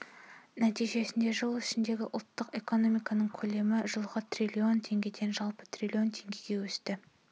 нәтижесінде жыл ішінде ұлттық экономиканың көлемі жылғы триллион теңгеден жылы триллион теңгеге өсті